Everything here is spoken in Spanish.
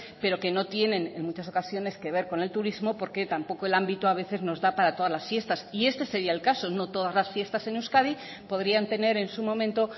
pero que no tienen en muchas ocasiones que ver con el turismo porque tampoco el ámbito a veces nos da para todas las fiestas y este sería el caso no todas las fiestas en euskadi podrían tener en su momento